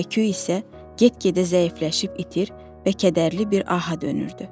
Hay-küy isə get-gedə zəifləyib itir və kədərli bir aha dönürdü.